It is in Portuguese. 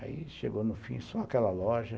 Aí chegou no fim só aquela loja.